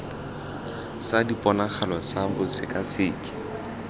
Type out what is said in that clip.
sa diponagalo tsa bosekaseki tse